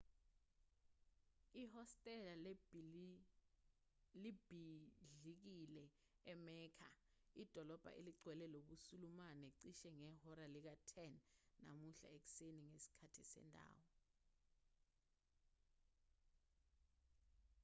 ihostela libhidlikile emecca idolobha elingcwele lobusulumane cishe ngehora lika-10 namuhla ekuseni ngesikhathi sendawo